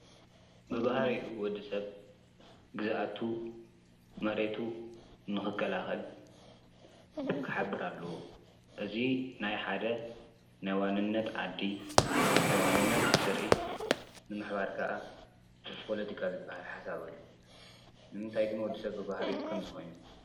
ብብህሪኡ ወዲ ሰብ ግዛኣቱ፣ መሬቱ ንኽከላኸል ክሓብር ኣለዎ፡፡ እዙ ናይ ሓደ ናይዋንነት ዓዲ፣ ናይ ዋንነት ዘርኢ ፣ንምሕባር ከዓ ፖሎቲካ ዝበሃል ሓሳብ ኣሎ፡፡ ንምንታይ ግን ወዲ ሰብ ብብህሪኡ ኸምዚ ኾይኑ?